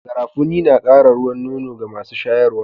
Garafuni na Kara ruwan nono ga masu shayarwa